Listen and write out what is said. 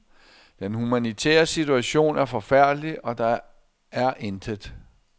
Den humanitære situation er forfærdelig, og der er intet